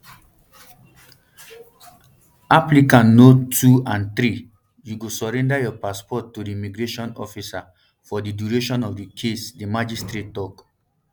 applicant no two and three you go surrender your passport to di immigration officer for di duration of di case di magistrate tok